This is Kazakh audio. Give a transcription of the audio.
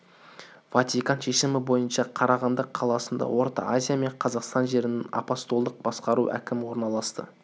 ватиканның шешімі бойынша қарағанды қаласында орта азия мен қазақстан жерінің апостолдық басқару әкімі орналасты